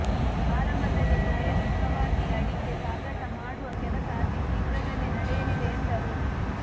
ಆರಂಭದಲ್ಲಿ ಪ್ರಾಯೋಗಿಕವಾಗಿ ಅಡಿಕೆ ಸಾಗಾಟ ಮಾಡುವ ಕೆಲಸ ಅತಿ ಶೀಘ್ರದಲ್ಲಿ ನಡೆಯಲಿದೆ ಎಂದರು